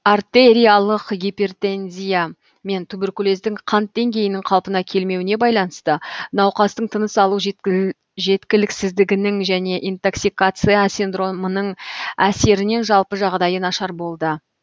артериялық гипертензия мен туберкулездің қант деңгейінің қалпына келмеуіне байланысты науқастың тыныс алу жеткіліксіздігінің және интоксикация синдромының әсерінен жалпы жағдайы нашар болды